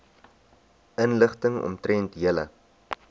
inligting omtrent julle